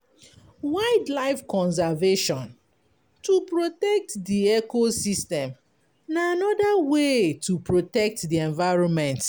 Wild life conservation to protect di ecosystem na anoda way to protect di environment